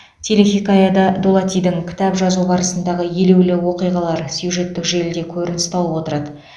телехикаяда дулатидің кітап жазу барысындағы елеулі оқиғалар сюжеттік желіде көрініс тауып отырады